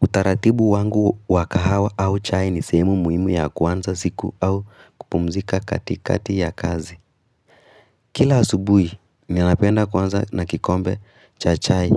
Utaratibu wangu wa kahawa au chai ni sehemu muhimu ya kuanza siku au kupumzika katikati ya kazi. Kila asubuhi, ninanapenda kuanza na kikombe cha chai.